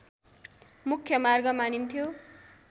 मुख्य मार्ग मानिन्थ्यो